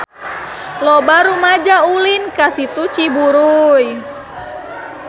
Loba rumaja ulin ka Situ Ciburuy